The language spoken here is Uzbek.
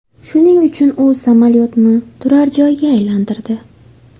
Shuning uchun u samolyotni turar joyga aylantirdi.